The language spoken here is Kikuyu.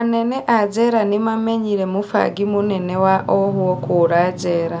Anene a njera nĩmamenyire mũbangi mũnene wa ohwo kũra njera